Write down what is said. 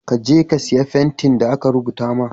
kaje ka siya fentin da aka rubuta ma.